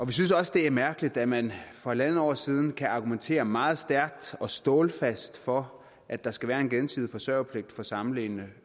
vi synes også det er mærkeligt at man for halvandet år siden kan argumentere meget stærkt og stålfast for at der skal være en gensidig forsørgerpligt for samlevende